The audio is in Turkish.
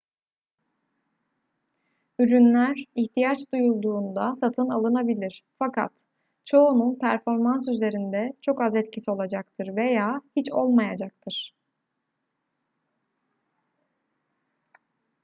ürünler ihtiyaç duyulduğunda satın alınabilir fakat çoğunun performans üzerinde çok az etkisi olacaktır veya hiç olmayacaktır